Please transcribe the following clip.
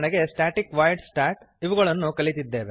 static void stat ಇವುಗಳನ್ನು ಕಲಿತಿದ್ದೇವೆ